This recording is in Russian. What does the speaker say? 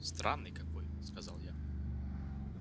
странный какой сказал я